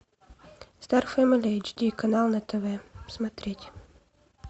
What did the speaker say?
стар фэмели эйч ди канал на тв смотреть